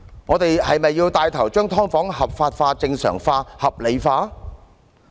我們是否要牽頭將"劏房"合法化、正常化、合理化？